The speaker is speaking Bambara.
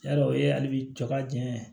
Yarɔ o ye hali bi ka jɛn